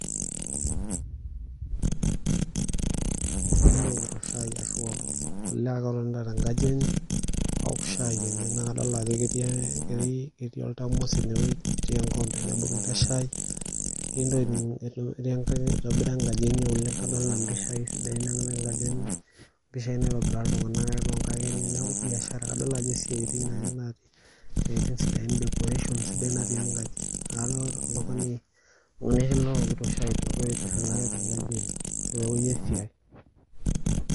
Oltungani ele owokito shaai ashu oltungani ake ele otonita tenkaji enye aok shaai enye naa kadolita ajo ketii oltamos eneweji ,netii enkikompe naibungita eshai, kake eitobirari enkaji enye oleng adolita mpishai natii enkaji enye ,mpishai natipika iltunganak aipangaki ine neeku biashara kadol ajo siatin sidain decoration sidai natii enkaji. Neeku oltungani ele owokito shaai ogira aitiringa teweji esiai.